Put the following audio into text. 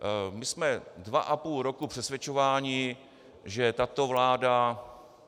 My jsme dva a půl roku přesvědčováni, že tato vláda...